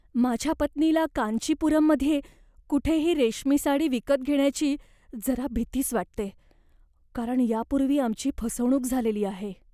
माझ्या पत्नीला कांचीपुरममध्ये कुठेही रेशमी साडी विकत घेण्याची जरा भितीच वाटते, कारण यापूर्वी आमची फसवणूक झालेली आहे.